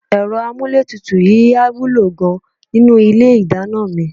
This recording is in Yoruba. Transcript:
Ẹ̀rọ amúlétutù yìí á wúlò gan-an nínú ilé ìdáná mi